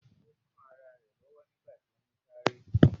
Ó kán ará rẹ̀ lọ́wọ́ nígbàtí ó ún sáré